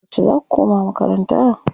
Yauce zaa ku koma makaranta?